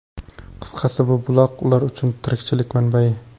Qisqasi, bu buloq ular uchun tirikchilik manbai.